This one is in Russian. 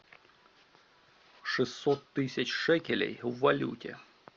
шестьсот тысяч шекелей в валюте